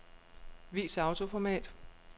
Vis autoformat.